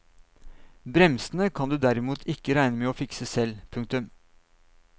Bremsene kan du derimot ikke regne med å fikse selv. punktum